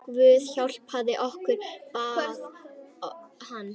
Guð hjálpi okkur, bað hann.